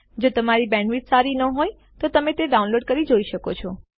જો તમારી બેન્ડવિડ્થ સારી ન હોય તો તમે ડાઉનલોડ કરીને તે જોઈ શકો છો